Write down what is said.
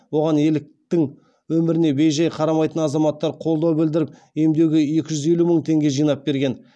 оған еліктің өміріне бей жай қарамайтын азаматтар қолдау білдіріп емдеуге екі жүз елу мың теңге жинап берген